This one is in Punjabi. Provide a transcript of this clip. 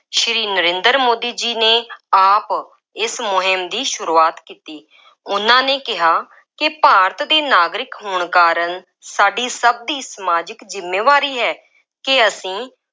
ਸ੍ਰੀ ਨਰਿੰਦਰ ਮੋਦੀ ਜੀ ਨੇ ਆਪ ਇਸ ਮੁੰਹਿਮ ਦੀ ਸੁਰੂਆਤ ਕੀਤੀ। ਉਹਨਾ ਨੇ ਕਿਹਾ ਕਿ ਭਾਰਤ ਦੇ ਨਾਗਰਿਕ ਹੋਣ ਕਾਰਨ ਸਾਡੀ ਸਭ ਦੀ ਸਮਾਜਿਕ ਜ਼ਿੰਮੇਵਾਰੀ ਹੈ ਕਿ ਅਸੀਂ